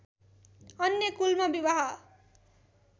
अन्य कुलमा विवाह